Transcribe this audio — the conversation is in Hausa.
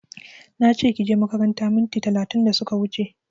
Nache kije makaranta minti talatin da suka wuche